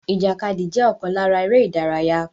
Ìjàkadì jẹ́ ọ̀kan lára eré ìdárayá